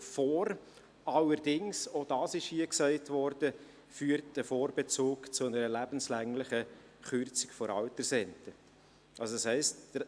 Allerdings führt ein Vorbezug zu einer lebenslänglichen Kürzung der Altersrente, auch das ist hier gesagt worden.